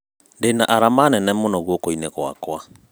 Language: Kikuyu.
Ndĩna arama nene mũno guokoinĩ gwakwa.